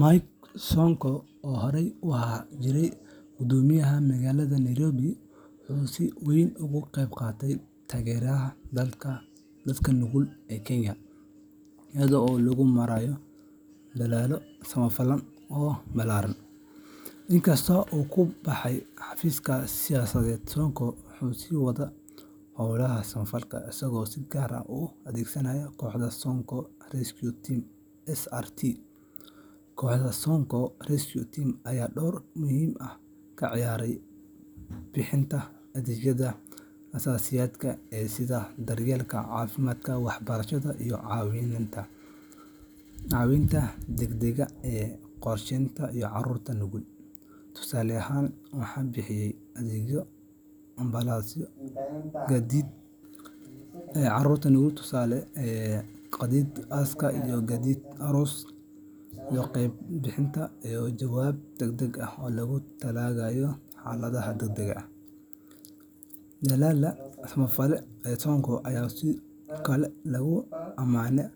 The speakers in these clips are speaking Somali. Mike Sonko, oo horey u ahaan jiray Guddoomiyaha Magaalada Nairobi, wuxuu si weyn uga qayb qaatay taageerada dadka nugul ee Kenya iyada oo loo marayo dadaallo samafal oo ballaaran. Inkasta oo uu ka baxay xafiiska siyaasadeed, Sonko wuxuu sii waday howlaha samafalka, isagoo si gaar ah u adeegsanaya kooxda Sonko Rescue Team SRT . Kooxda [cs[Sonko Rescue Team ayaa door muhiim ah ka ciyaartay bixinta adeegyada aasaasiga ah sida daryeelka caafimaadka, waxbarashada, iyo caawinta degdegga ah ee qoysaska iyo carruurta nugul. Tusaale ahaan, waxay bixiyeen adeegyo ambalaasyo, gaadiid aaska, gaadiid aroos, qaybinta biyaha, iyo jawaab degdeg ah oo loogu talagalay xaaladaha degdegga ah . Dadaallada samafalka ee Sonko ayaa sidoo kale lagu ammaanay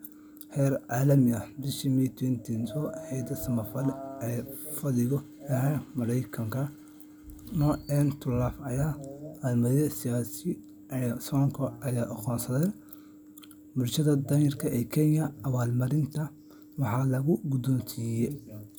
heer caalami ah. Bishii May 2025, hay'ad samafal oo fadhigeedu yahay Maraykanka, No End to Love, ayaa abaalmarin siisay Sonko iyada oo aqoonsatay dadaalkiisa joogtada ah ee lagu taageerayo bulshooyinka danyarta ah ee Kenya. Abaalmarintan waxaa lagu guddoonsiiyee